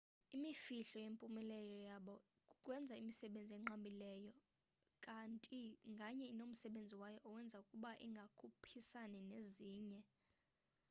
imifhlo yempumelelo yabo kukwenza imisebenzi enqabileyo kati nganye inomsebenzi wayo owenza ukuba ingakhuphisani nezinye